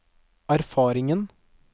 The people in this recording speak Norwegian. erfaringen